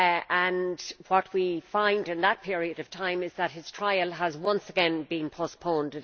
and what we find in that period of time is that his trial has once again been postponed.